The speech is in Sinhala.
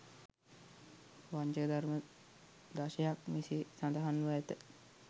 වංචක ධර්ම දශයක් මෙසේ සඳහන් ව ඇත.